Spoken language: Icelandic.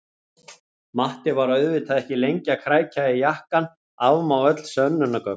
Matti var auðvitað ekki lengi að krækja í jakkann, afmá öll sönnunargögn!